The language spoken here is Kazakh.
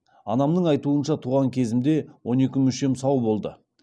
анамның айтуынша туған кезімде он екі мүшем сау болды